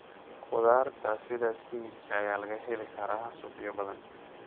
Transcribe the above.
Khudaarta sida isbinaajka ayaa laga heli karaa suuqyo badan.